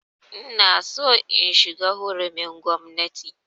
Ina so in shiga hurumin gwamnati